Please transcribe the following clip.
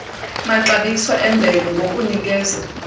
maxabiso emvelo ngokunikeza